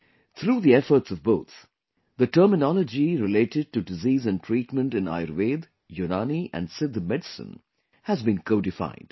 Through the efforts of both, the terminology related to disease and treatment in Ayurveda, Unani and Siddha medicine has been codified